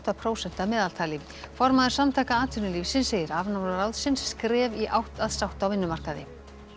prósent að meðaltali formaður Samtaka atvinnulífsins segir afnám ráðsins skref í átt að sátt á vinnumarkaði